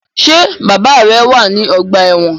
Ṣe bàbá rẹ wá ní ọgbà ẹwọn?